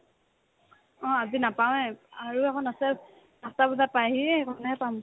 অ, আজি নাপাওয়ে আৰু এখন আছে আঠটা বজাত পাইহি সেইখনে পাম